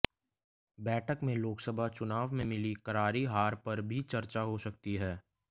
बैठक में लोकसभा चुनाव में मिली करारी हार पर भी चर्चा हो सकती है